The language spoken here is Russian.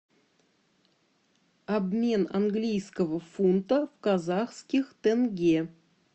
обмен английского фунта в казахских тенге